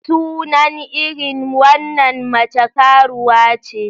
Sunan irin wannan mace karuwa ce.